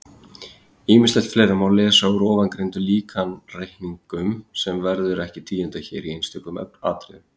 Ýmislegt fleira má lesa úr ofangreindum líkanreikningum sem verður ekki tíundað hér í einstökum atriðum.